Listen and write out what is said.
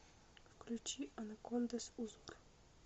включи анакондаз узор